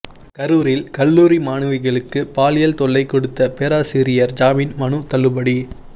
கரூரில் கல்லூரி மாணவிகளுக்கு பாலியல் தொல்லை கொடுத்த பேராசிரியர் ஜாமின் மனு தள்ளுபடி